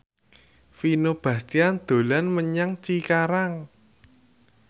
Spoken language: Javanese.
Vino Bastian dolan menyang Cikarang